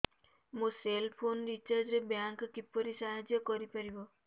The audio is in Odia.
ମୋ ସେଲ୍ ଫୋନ୍ ରିଚାର୍ଜ ରେ ବ୍ୟାଙ୍କ୍ କିପରି ସାହାଯ୍ୟ କରିପାରିବ